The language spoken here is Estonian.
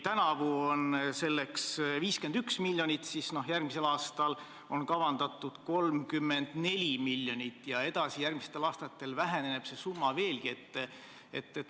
Tänavu on selleks 51 miljonit, järgmisel aastal 34 miljonit ja edasi, järgmistel aastatel väheneb see summa veelgi.